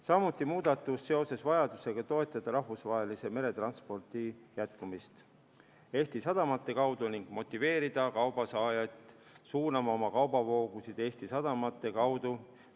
Samuti muudatus seoses vajadusega toetada rahvusvahelise meretranspordi jätkumist Eesti sadamate kaudu ning motiveerida kaubasaajaid suunama oma kaubavoogusid Eesti sadamate kaudu.